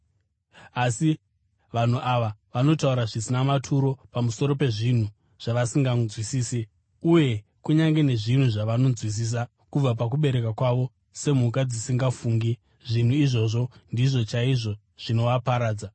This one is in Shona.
Asi vanhu ava vanotaura zvisina maturo pamusoro pezvinhu zvavasinganzwisisi; uye kunyange nezvinhu zvavanonzwisisa kubva pakuberekwa kwavo, semhuka dzisingafungi, zvinhu izvozvi ndizvo chaizvo zvinovaparadza.